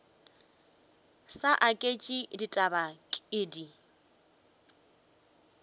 sa aketše ditaba ke di